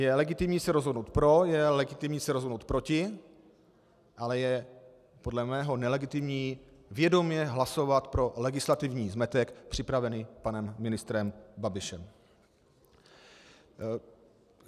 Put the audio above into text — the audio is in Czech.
Je legitimní se rozhodnout pro, je legitimní se rozhodnout proti, ale je podle mého nelegitimní vědomě hlasovat pro legislativní zmetek připravený panem ministrem Babišem.